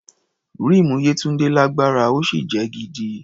Ríìmù Yétúndé lágbára, ó sì jẹ́ gidi.